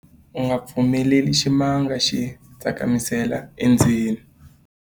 u nga pfumeleli ximanga xi tsakamisela endzeni